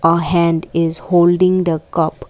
A hand is holding the cup.